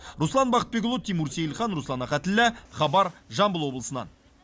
руслан бақытбекұлы тимур сейілхан руслан ахатіллә хабар жамбыл облысынан